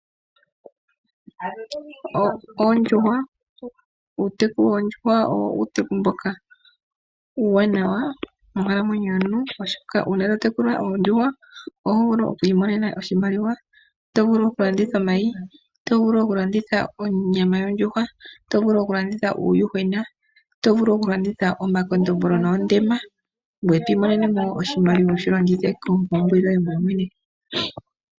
Uuteku woondjuhwa owo uuteku mboka uuwanawa monkalamwenyo yomuntu oshoka, ngele totekula oondjuhwa oto vulu okwiimonenamo iimaliwa. Oto vulu okulanditha omayi, otovulu woo okulanditha onyama yondjuhwa , otovulu okulanditha uuyuhwena , otovulu okulanditha omakondombolo nuundema ngweye twiimonene oshimaliwa wushilongethe moompumbwe dhayoolokathana.